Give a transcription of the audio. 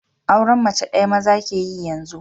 Auren mace ɗaya maza ke yi yanzu